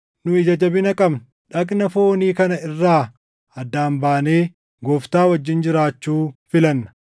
Nu ija jabina qabna; dhagna foonii kana irraa addaan baanee Gooftaa wajjin jiraachuu filanna.